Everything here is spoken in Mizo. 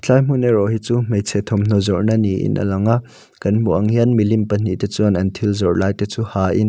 helai hmun erawh hi chu hmeichhe thawmhnaw zawrhna niin a lang a kan hmuh ang hian milim pahnih te chuan an thil zawrh lai te chu ha in--